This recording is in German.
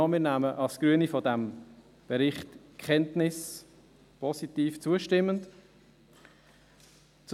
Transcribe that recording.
Als Grüne nehmen wir von diesem Bericht positiv zustimmend Kenntnis.